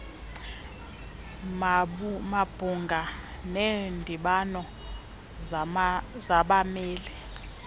mabhunga neendibano zabameli